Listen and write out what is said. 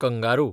kangaroo